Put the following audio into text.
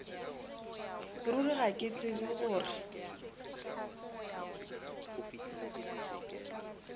ruri ga ke tsebe gore